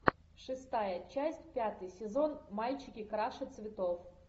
шестая часть пятый сезон мальчики краше цветов